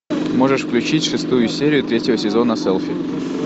можешь включить шестую серию третьего сезона селфи